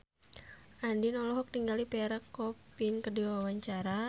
Andien olohok ningali Pierre Coffin keur diwawancara